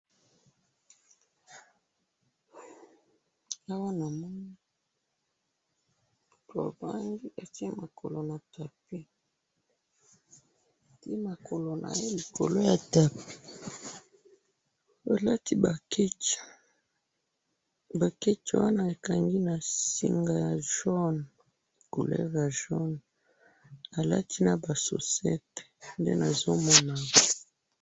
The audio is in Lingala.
awa namoni mobali atiye lokolo na tapi atiye makolo naye likolo ya tapi alati ba ketch ba ketch wana ekangi na singa ya jone couleur ya jone alati naba sosete nde nazomona awa.